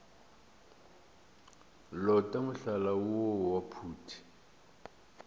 lota mohlala woo wa phuti